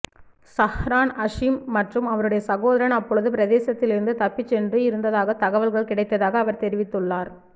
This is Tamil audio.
ஸஹ்ரான் ஹஷீம் மற்றும் அவருடைய சகோதரன் அப்பொழுது பிரதேசத்திலிருந்து தப்பிச் சென்று இருந்ததாக தகவல்கள் கிடைத்ததாக அவர் தெரிவித்துள்ளார்